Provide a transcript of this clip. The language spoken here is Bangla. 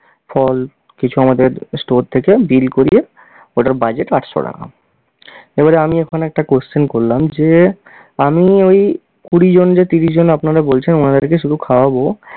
ফল কিছু আমাদের store থেকে bill করিয়ে, ওটার budget আটশো টাকা। এবারে আমি এখন একটা question করলাম যে আমি ওই কুড়ি জন যে ত্রিশ জন আপনারা বলছেন উনাদেরকে শুধু খাওয়াবো